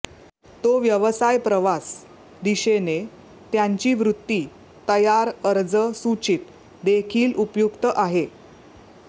तो व्यवसाय प्रवास दिशेने त्यांची वृत्ती तयार अर्ज सूचित देखील उपयुक्त आहे